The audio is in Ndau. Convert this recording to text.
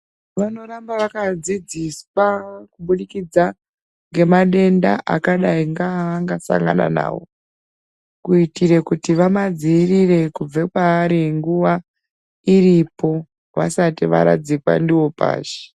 Vanoramba vakadzidziswa kubudikidza ngemadenda akadai ngeavangasangana nawo. Kuitire kuti vamadziirire kubve kwaari nguva iripo, vasati varadzikwa ndiwo pashi.